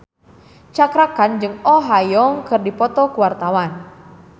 Cakra Khan jeung Oh Ha Young keur dipoto ku wartawan